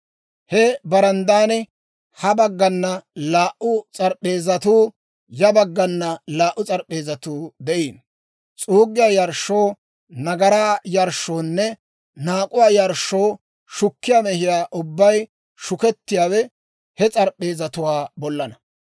He baranddan ha baggana laa"u s'arp'p'eezatuu, ya bagganakka laa"u s'arp'p'eezatuu de'iino; s'uuggiyaa yarshshoo, nagaraa yarshshoonne naak'uwaa yarshshoo shukkiyaa mehiyaa ubbay shukettiyaawe he s'arp'p'eezatuwaa bollaanna.